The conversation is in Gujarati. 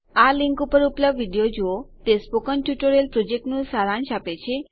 આ લીંક ઉપર ઉપલબ્ધ વિડીઓ જુઓ તે સ્પોકન ટ્યુટોરીયલ પ્રોજેક્ટનું સારાંશ આપે છે